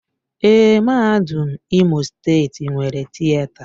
Èé, Mahadum Imo steeti nwere Tịeta.